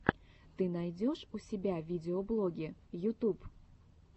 ты найдешь у себя видеоблоги ютуб